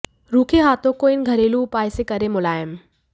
रूखे हाथों को इन घरेलू उपायों से करें मुलायम